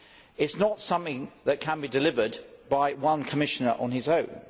It is not something that can be delivered by one Commissioner on his own.